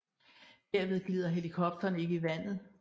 Derved glider helikopteren ikke i vandet